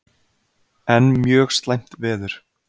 Enn mjög slæmt veður